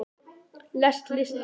lest list líst